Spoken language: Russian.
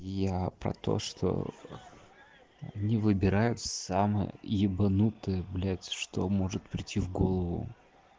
я про то что они выбирают самое ебанутое блядь что может прийти в голову